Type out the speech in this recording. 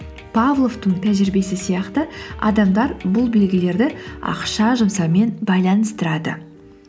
павловтың тәжірибесі сияқты адамдар бұл белгілерді ақша жұмсаумен байланыстырады